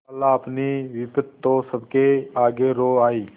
खालाअपनी विपद तो सबके आगे रो आयी